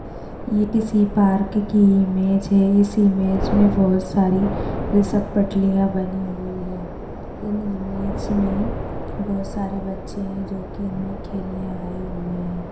ये किसी पार्क की इमेज है इस इमेज मे बहुत सारी घसर पट्टिया बनी हुई है इन इमेज मे बहुत सारे बच्चे है जो की इनमे खेलने आए हुए है।